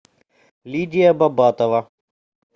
лидия бабатова